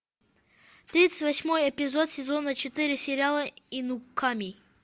тридцать восьмой эпизод сезона четыре сериала инуками